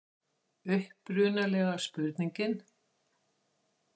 Upprunalega spurningin: